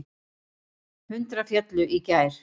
Hundrað féllu í gær.